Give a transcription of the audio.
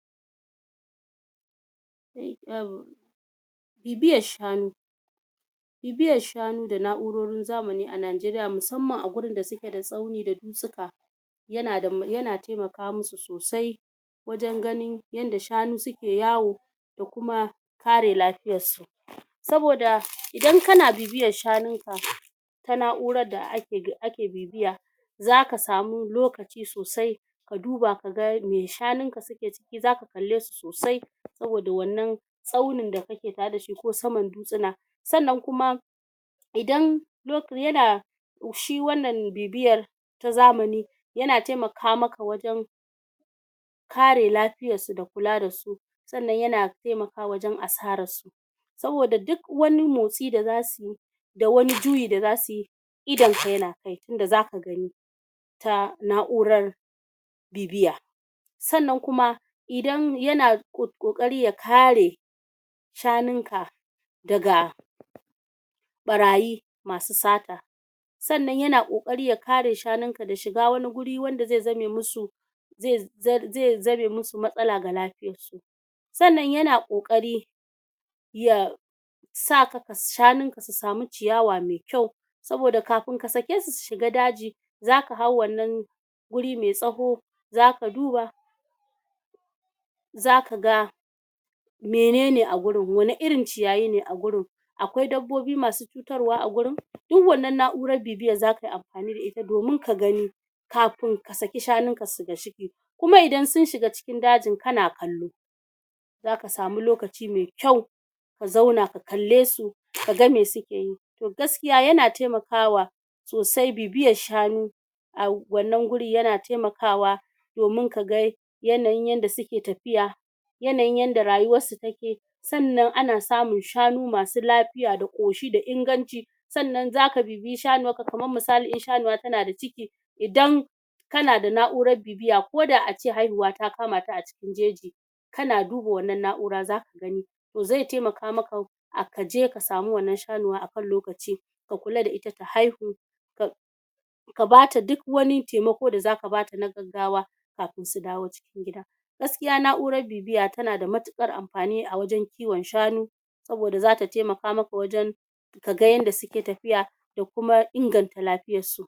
bibiyar shanu bibiyar shanu da na'urorin zamani a Najeriya musamman a gurin da suke da tsauni da dutsuka yana temaka mu su sosai wajen ganin yadda shanu suke yawo da kuma kare lafiyar su saboda idan kana bibiyar shanun ka ta na'urar da ake bibiya zaka samu lokaci sosai ka duba kaga me shanun ka suke ciki zaka kalle su sosai saboda wannan tsaunin da kake tare da shi ko saman dutsuna sannan kuma idan yana shi wannan bibiyar ta zamani yana temaka maka wajen kare lafiyar su da kula da su sannan yana temakawa wajen asarar su saboda duk wani motsi da zasu yi da wani juyi da zasu yi idon ka yana kai tunda zaka gani ta na'urar bibiya sannan kuma idan yana ƙoƙari ya kare shanun ka daga ɓarayi masu sata sannan yana ƙoƙari ya kare shanun ka da shiga wani guri wanda ze zame mu su ze zame mu su matsala ga lafiyar su sannan yana ƙoƙari ya ya shanun ka su samu ciyawa me kyau saboda kafin ka sake su su shiga daji zaka hau wannan guri me tsawo zaka duba zaka ga menene a gurin wane irin ciyayi ne a gurin? akwai dabbobi masu cutarwa a gurin? duk wannan na'urar bibiyar zaka yi amfani da ita domin ka gani kafin ka saki shanun ka kuma idan sun shiga cikin dajin kana kallo zaka samu lokaci me kyau ka zauna ka kalle su ka ga me suke yi to gaskiya yana temakawa sosai bibiyar shanu a wannan guri yana temakawa domin kaga yanayin yadda suke tafiya yanayin yadda rayuwar su take sannan ana samun shanu masu lafiya da ƙoshi da inganci sannan zaka bibiyi shanuwarka kamar misali in shanuwa tana da ciki idan kana da na'urar bibiya ko da ace haihuwa ta kamata a cikin jeji kana duba wannan na'ura zaka gani ze temaka maka kaje ka samu wannan shanuwa akan lokaci ka kula da ita ta haihu ka bata duk wani temako da zaka bata na gaggawa kafin su dawo cikin gida gaskiya na'urar bibiya tana da matuƙar amfani a wajen kiwon shanu saboda zata temaka maka wajen ka ga yanda suke tafiya da kuma inganta lafiyar su